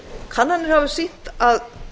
kannanir hafa sýnt að